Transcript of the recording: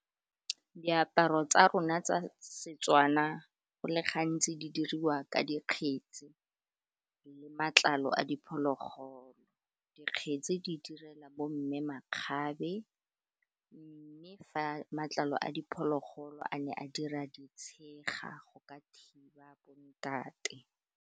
Diaparo tsa rona tsa Setswana, go le gantsi di diriwa ka dikgetsi le matlalo a diphologolo, dikgetsi di direla bo mme makgabe mme fa matlalo a diphologolo a ne a dira ditshega go ka thiba bontate.